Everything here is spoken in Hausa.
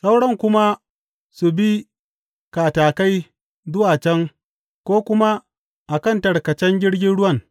Sauran kuma su bi katakai zuwa can ko kuma a kan tarkacen jirgin ruwan.